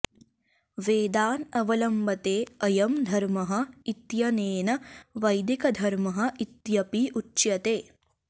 वेदान् अवलम्बते अयं धर्मः इत्यनेन वैदिकधर्मः इत्यपि उच्यते